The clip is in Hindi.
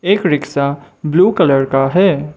एक रिक्शा ब्लू कलर का है।